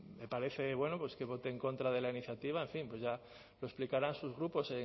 me parece bueno pues que vote en contra de la iniciativa en fin pues ya lo explicarán sus grupos